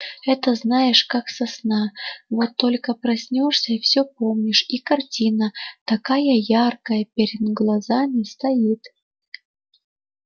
это знаешь как со сна вот только проснёшься всё помнишь и картина такая яркая перед глазами стоит